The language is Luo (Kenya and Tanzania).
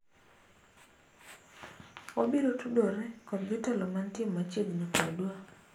wabiro tudore kod jotelomantie machiegni kodwa